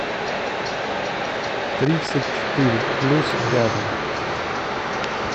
тридцать четыре плюс рядом